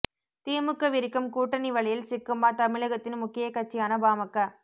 திமுக விரிக்கும் கூட்டணி வலையில் சிக்குமா தமிழகத்தின் முக்கிய கட்சியான பாமக